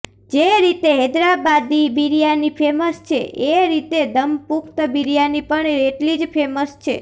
જે રીતે હૈદરાબાદી બિરિયાની ફેમશ છે એ રીતે દમપુખ્ત બિરિયાની પણ એટલી જ ફેમશ છે